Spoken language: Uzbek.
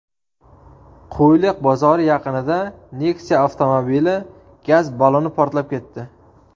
Qo‘yliq bozori yaqinida Nexia avtomobili gaz balloni portlab ketdi.